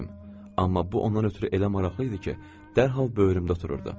Amma bu ona ötrü elə maraqlı idi ki, dərhal böyrümdə otururdu.